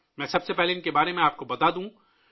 پہلے میں آپ کو ، ان کے بارے میں بتاتا ہوں